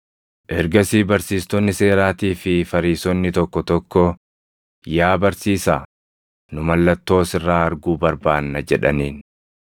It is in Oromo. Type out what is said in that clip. Ergasii barsiistonni seeraatii fi Fariisonni tokko tokko, “Yaa barsiisaa, nu mallattoo sirraa arguu barbaanna” jedhaniin.